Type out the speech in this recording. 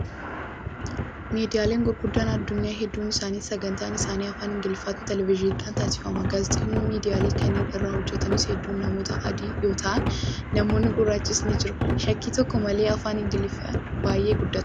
Miidiyaalee gurguddaa addunyaa heedduun isaanii sagantaan isaanii afaan ingiliffaatiin televezyiiniidhaan tamsaafama. Gaazexeessitoonni miidiyaalee kanneen irra hojjatanis hedduun namoota adii yoo ta'an, namoonni gurraachis ni jiru. Shakkii tokko malee afaan ingiliffaa baay'ee guddateera.